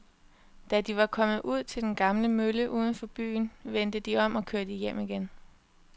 Da de var kommet ud til den gamle mølle uden for byen, vendte de om og kørte hjem igen.